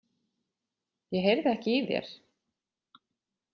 Ég heyrði ekki í þér.